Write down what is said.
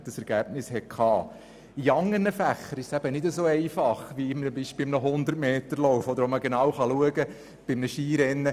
In anderen Fächern ist dies nicht so einfach wie etwa bei einem 100m-Lauf oder einem Skirennen.